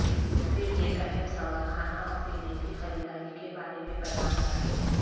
پھر ایک اہم سوال کھانا اور پینے کی خریداری کے بارے میں پیدا ہوتا ہے